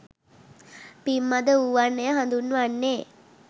පින් මඳ වූවන් එය හඳුන්වන්නේ